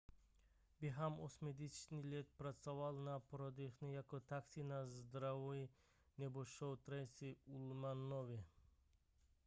během osmdesátých let pracoval na pořadech jako taxi na zdraví nebo show tracey ullmanové